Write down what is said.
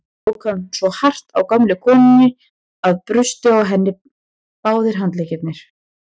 Þá tók hann svo hart á gömlu konunni að brustu á henni báðir handleggir.